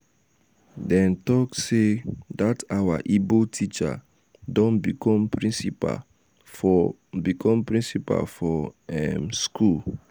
dem talk sey dat our ibo teacher don become principal for become principal for um school.